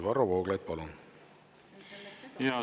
Varro Vooglaid, palun!